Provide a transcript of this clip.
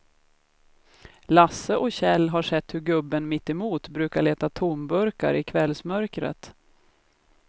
Lasse och Kjell har sett hur gubben mittemot brukar leta tomburkar i kvällsmörkret.